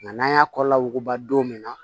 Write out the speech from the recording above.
Nka n'an y'a kɔlɔlɔ wuguba don min na